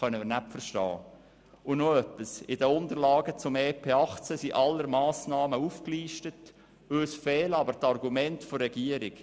Und noch etwas: in den Unterlagen zum EP 2018 sind alle Massnahmen aufgelistet, aber es fehlen uns die Argumente der Regierung.